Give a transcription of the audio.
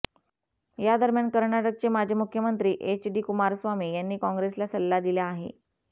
यादरम्यान कर्नाटकचे माजी मुख्यमंत्री एच डी कुमारस्वामी यांनी काँग्रेसला सल्ला दिला आहे